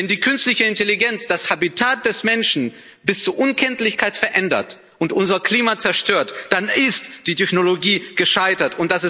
Wenn die künstliche Intelligenz das Habitat der Menschen bis zur Unkenntlichkeit verändert und unser Klima zerstört, dann ist die Technologie gescheitert.